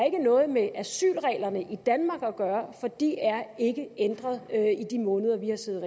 ikke noget med asylreglerne i danmark at gøre for de er ikke ændret i de måneder vi har siddet